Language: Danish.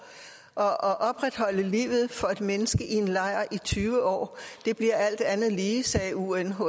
og at opretholde livet for et menneske i en lejr i tyve år bliver alt andet lige sagde unhcr